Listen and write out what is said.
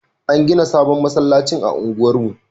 An gina sabon masallacin a unguwar mu